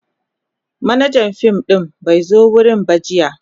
Manajan fim din bai zo wurin ba jiya.